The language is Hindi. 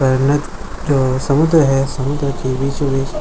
समुद्र है समुद्र के बीचो बिच--